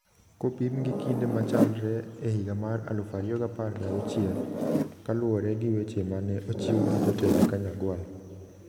kopim gi kinde ma chalre e higa mar 2016, ka luwore gi weche ma ne ochiw gi jotend Kanyagwal.